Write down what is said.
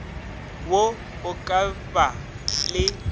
wo o ka ba le